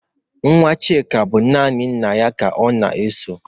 Nwa Chịka bụ naanị nna ya ka ọ na-eso